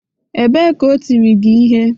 Ebee ka o tịrị gị ihe?